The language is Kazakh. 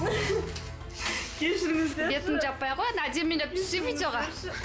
кешіріңіздерші бетіңді жаппай ақ қой енді әдемілеп түссей видеоға